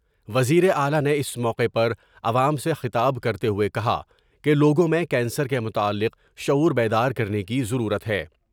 وزیر اعلی نے اس موقع پر عوام سے خطاب کرتے ہوۓ کہا کہ لوگوں میں کینسر کے متعلق شعور بیدار کرنے کی ضرورت ہے۔